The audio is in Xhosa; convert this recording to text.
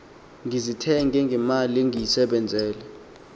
ndizithenge ngemali endiyisebenzele